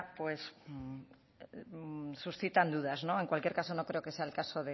suscitan dudas en cualquier caso no creo que sea el caso